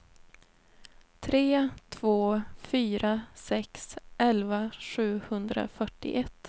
tre två fyra sex elva sjuhundrafyrtioett